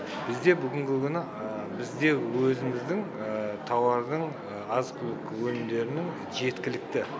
бізде бүгінгі күні бізде өзіміздің тауардың азық түлік өнімдерінің жеткілікті